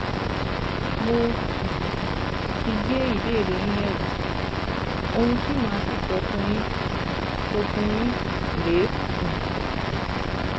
Mo um ti gbé ìbéèrè yín yẹ̀wò, ohun tí màá sì sọ fún yín sọ fún yín rèé um